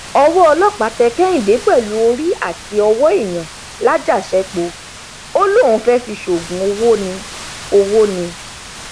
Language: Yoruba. owó ọlọpàá tẹ kẹhìndé pẹlú orí àti owó èèyàn làjàṣẹipò ó lóun fẹẹ fi ṣoògùn owó ni owó ni